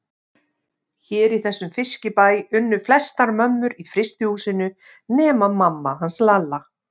Hér í þessum fiskibæ unnu flestar mömmur í frystihúsinu nema mamma hans Lalla.